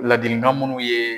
Laadiligan minnu ye